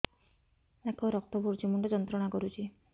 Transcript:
ନାକ ରୁ ରକ୍ତ ପଡ଼ୁଛି ମୁଣ୍ଡ ଯନ୍ତ୍ରଣା କରୁଛି